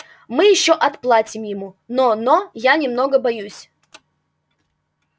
мы ещё отплатим ему но но я немного боюсь